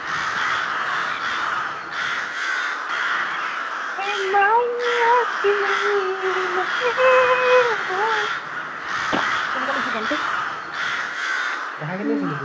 কেনেকুৱা পাইছ, গানটো?